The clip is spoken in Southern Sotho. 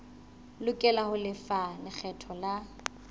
lokela ho lefa lekgetho la